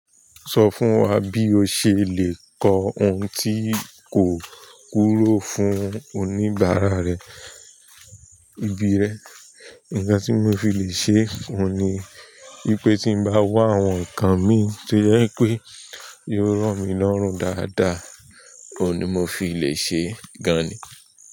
Sọ fún wa bí o ṣe lè kọ ohun tí kò kúrò fún oníbàárà rẹ, ibi rẹ. Ìkàn tí mo fi lè ṣe oun ni wípé tí n bá wá àwọn nǹkan mi tó jẹ pé yóò rọ mí lọ́rùn dáadáa, òun ni mo fi lè ṣe gan-an ni.